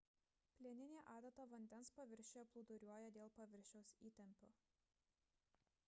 plieninė adata vandens paviršiuje plūduriuoja dėl paviršiaus įtempio